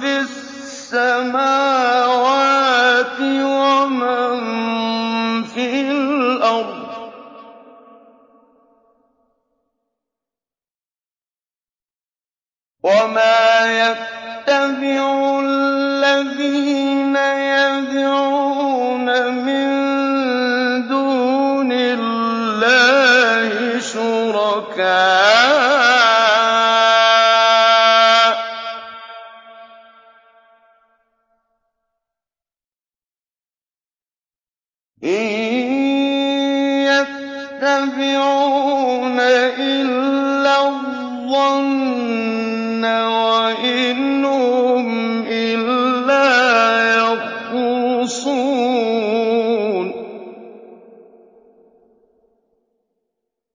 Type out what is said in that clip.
فِي السَّمَاوَاتِ وَمَن فِي الْأَرْضِ ۗ وَمَا يَتَّبِعُ الَّذِينَ يَدْعُونَ مِن دُونِ اللَّهِ شُرَكَاءَ ۚ إِن يَتَّبِعُونَ إِلَّا الظَّنَّ وَإِنْ هُمْ إِلَّا يَخْرُصُونَ